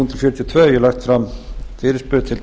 hef ég lagt fram fyrirspurn til